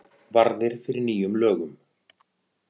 Varðir fyrir nýjum lögum